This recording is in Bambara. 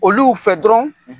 Olu fɛ dɔrɔn